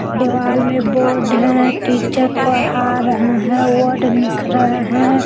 दिवाल में बोर्ड है टीचर पढ़ा रहे है वर्ड लिख रहे हैं।